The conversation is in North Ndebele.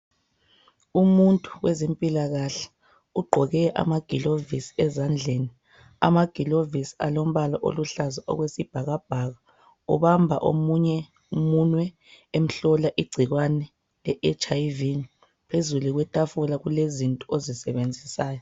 Umuntu wezempilakahle ugqoke amagilovisi ezandleni. Amagilovisi alombala oluhlaza okwesibhakabhaka, ubamba omunye umunwe emhlola igcikwane le HIV. Phezulu kwetafula kulezinto ozisebenzisayo.